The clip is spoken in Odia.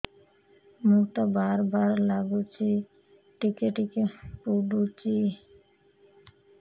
ମୁତ ବାର୍ ବାର୍ ଲାଗୁଚି ଟିକେ ଟିକେ ପୁଡୁଚି